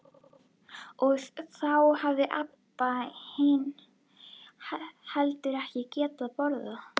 Og þá hafði Abba hin heldur ekki getað borðað.